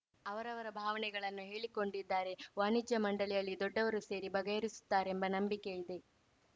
ಅವರವರ ಭಾವನೆಗಳನ್ನು ಹೇಳಿಕೊಂಡಿದ್ದಾರೆ ವಾಣಿಜ್ಯ ಮಂಡಳಿಯಲ್ಲಿ ದೊಡ್ಡವರು ಸೇರಿ ಬಗೆಹರಿಸುತ್ತಾರೆಂಬ ನಂಬಿಕೆ ಇದೆ